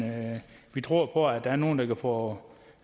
vi tror på at der er nogle der kan få